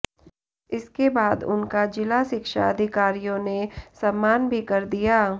इसके बाद उनका जिला शिक्षा अधिकारियों ने सम्मान भी कर दिया